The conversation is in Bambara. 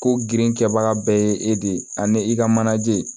Ko girinkɛbaga bɛɛ ye e de ye ani e ka manaje